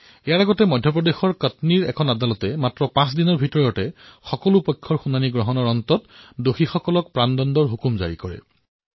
ইয়াৰ পূৰ্বে মধ্য প্ৰদেশৰ কটনীত এক ন্যায়ালয়ত কেৱত পাঁচ দিনৰ শুনানিৰ পিছত দোষীক ফাঁচীৰ হুকুম দিয়া হৈছিল